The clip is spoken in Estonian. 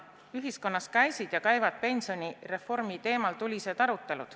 Ühiskonnas käisid ja käivad pensionireformi teemal tulised arutelud.